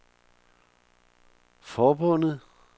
forbundet